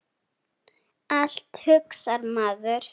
Allt, hugsar maður.